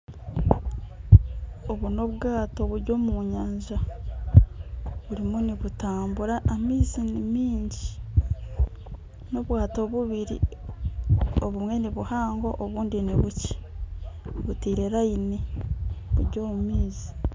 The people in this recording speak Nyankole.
Obu n'obwaato buri omu nyanja burimu nibutambura, amaizi ni mingi n'obwaato bubiri obumwe ni buhango obundi ni bukye buteire layini buri omu maizi.